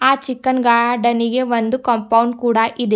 ಆ ಚಿಕನ್ ಗಾರ್ಡನಿಗೆ ಒಂದು ಕಾಂಪೌಂಡ್ ಕೂಡ ಇದೆ.